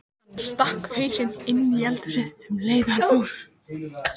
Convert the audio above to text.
Hann stakk hausnum inní eldhúsið um leið og hann fór.